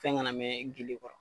Fɛn kana mɛn i .